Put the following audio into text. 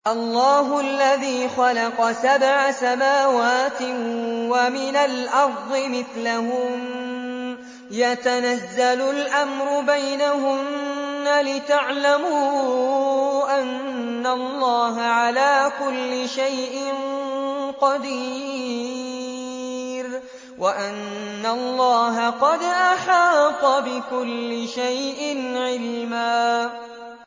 اللَّهُ الَّذِي خَلَقَ سَبْعَ سَمَاوَاتٍ وَمِنَ الْأَرْضِ مِثْلَهُنَّ يَتَنَزَّلُ الْأَمْرُ بَيْنَهُنَّ لِتَعْلَمُوا أَنَّ اللَّهَ عَلَىٰ كُلِّ شَيْءٍ قَدِيرٌ وَأَنَّ اللَّهَ قَدْ أَحَاطَ بِكُلِّ شَيْءٍ عِلْمًا